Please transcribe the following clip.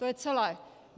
To je celé.